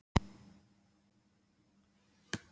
Á honum var málmplata sem á stóð grafið